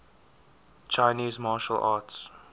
chinese martial arts